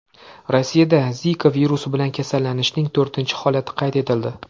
Rossiyada Zika virusi bilan kasallanishning to‘rtinchi holati qayd etildi.